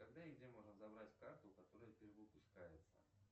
когда и где можно забрать карту которая перевыпускается